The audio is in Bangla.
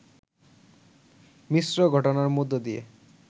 মিশ্র ঘটনার মধ্য দিয়ে